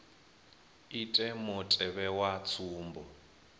ite mutevhe wa tsumbo dza